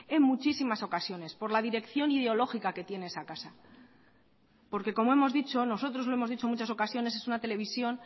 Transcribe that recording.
en muchísimas ocasiones por la dirección ideológica que tiene esa casa porque como hemos dicho nosotros lo hemos dicho en muchas ocasiones es una televisión